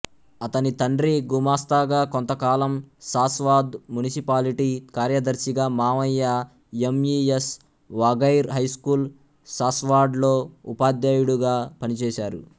అతని తండ్రి గుమస్తాగా కొంతకాలం సాస్వాద్ మునిసిపాలిటీ కార్యదర్శిగా మామయ్య ఎంఈఎస్ వాఘైర్ హైస్కూల్ సాస్వాడ్లో ఉపాధ్యాయుడుగా పనిచేశారు